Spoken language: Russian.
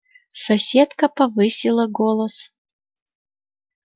соседка повысила голос